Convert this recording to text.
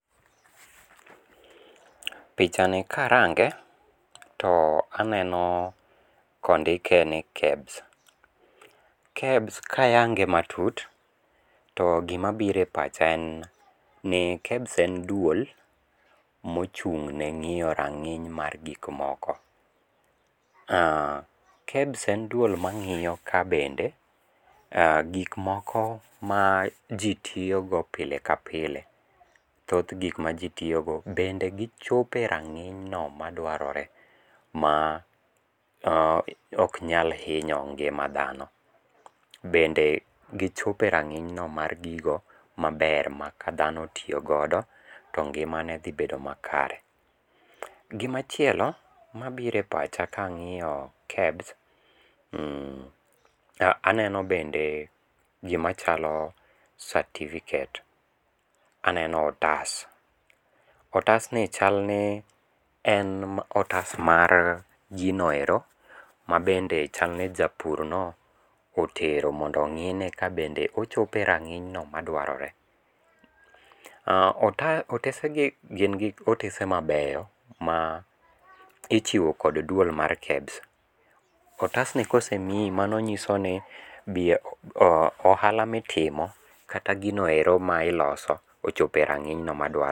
pichani ka arange, to aneno ka ondike ni KEBS. KEBS ka ayange matut, to gima biro e pacha en ni KEBS en duol ma ochung' ne ngíyo ranginy mar gik moko. KEBS en duol ma ngíyo ka bende gik moko ma ji tiyo go pile pile. Thoth gik ma ji tiyogo, bende gichopo e rangíny no madwarore ma ok nyal hinyo ngima dhano. Bende gichopo e rangínyno mar gigo maber ma ka dhano otiyo godo, to ngimane dhi bedo makare. Gima chielo mabiro e pacha ka angíyo KEBS, aneno bende gima chalo certificate aneno otas. Otas ni chalni, en otas mar ji no ero ma bende chalni japur no otero mondo ongí ne ka bende ochopo e rangínyno madwarore. Otas, otese gi gin gik otese mabeyo ma ichiwo kod duol mar KEBS. Otas ni ka osemii, mano nyiso ni ohala ma itimo kata gino ero ma iloso ochopo e rangínyno madwarore.